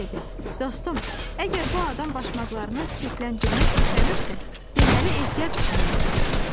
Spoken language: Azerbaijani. O biri dedi: "Dostum, əgər bu adam başmaqlarını çirkləndirmək istəmirsə, deməli ehtiyac içində yaşayır.